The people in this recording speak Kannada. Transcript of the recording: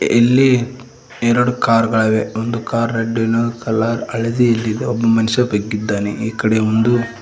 ಇಲ್ಲಿ ಎರಡು ಕಾರ್ ಗಳಿವೆ ಒಂದು ಕಾರ್ ರೆಡ್ ಇನ್ನೊಂದು ಕಲರ್ ಹಳದಿಯಲಿದೆ ಒಬ್ಬ ಮನುಷ್ಯ ಬಗ್ಗಿದಾನೆ ಈ ಕಡೆ ಒಂದು --